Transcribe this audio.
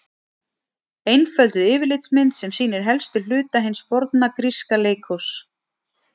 Einfölduð yfirlitsmynd sem sýnir helstu hluta hins forna gríska leikhúss.